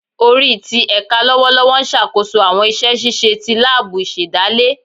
Ori ti ẹka lọwọlọwọ n ṣakoso awọn iṣẹ ṣiṣe ni laabu isedale